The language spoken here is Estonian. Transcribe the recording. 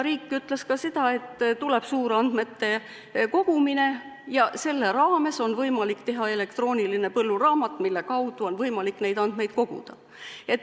Riik ütles ka seda, et tuleb suurandmete kogumine ja selle raames on võimalik teha elektrooniline põlluraamat, mille kaudu on võimalik neid andmeid koguda.